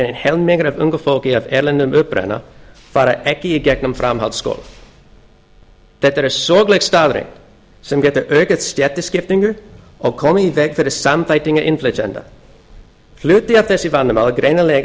meira en helmingur ungs fólks af erlendum uppruna fer ekki í gegnum framhaldsskóla þetta er sorgleg staðreynd sem getur aukið stéttaskiptingu og komið í veg fyrir samþættingu innflytjenda hluti af þessu vandamáli er greinilega